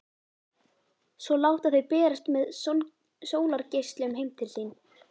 Svo láta þau berast með sólargeislunum heim til sín.